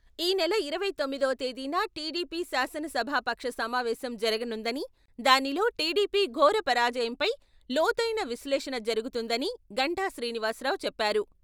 ఈ నెల ఇరవై తొమ్మిదవ తేదీన టీడీపీ శాసనసభాపక్ష సమావేశం జరగనుందని, దానిలో టిడిపి ఘోర పరాజయంపై లోతైన విశ్లేషణ జరుగుతుందని గంటా శ్రీనివాస్ రావు చెప్పారు.